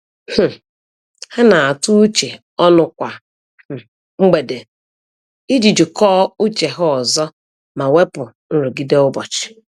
um Ha na-atụ uche ọnụ kwa um mgbede iji jikọọ uche ha ọzọ ma wepụ nrụgide ụbọchị.